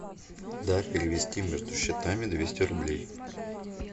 да перевести между счетами двести рублей